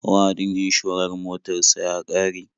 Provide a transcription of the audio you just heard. Wa'adin inshorar motar sa ya ƙare.